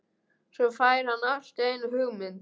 Svo fær hann allt í einu hugmynd.